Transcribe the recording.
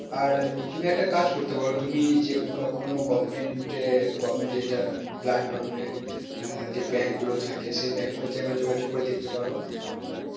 আর তুমি একটা কাজ করতে পারো তুমি যে কোনো কোনো government এর government যেটা blood donate যে bank গুলো থাকে সে bank গুলোতে একবার যোগাযোগ করে দেখতে পারো